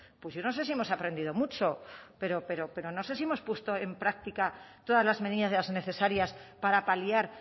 pues yo no sé si hemos aprendido mucho pero no sé si hemos puesto en práctica todas las medidas necesarias para paliar